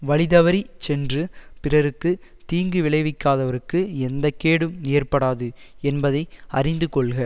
வழிதவறிச் சென்று பிறர்க்கு தீங்கு விளைவிக்காதவர்க்கு எந்த கேடும் ஏற்படாது என்பதை அறிந்து கொள்க